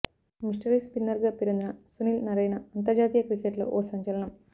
mystery స్పిన్నర్గా పేరొందిన Sunil Narine అంతర్జాతీయ క్రికెట్లో ఓ సంచలనం